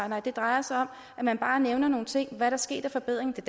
nej det drejer sig om at man bare nævner nogle ting i der er sket af forbedring det